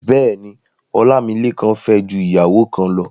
Bẹ́ẹ̀ni, Ọlámílékan fẹ́ ju ìyàwó kan lọ.